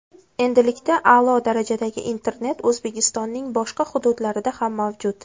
Endilikda a’lo darajadagi internet O‘zbekistonning boshqa hududlarida ham mavjud!.